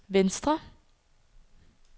venstre